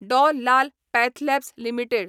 Dr Lal PathLabs limited